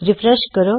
refresh ਕਰੋ